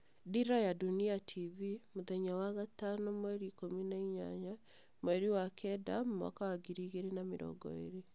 Dira ya Dunia TV mũthenya wa gatano 18/09/2020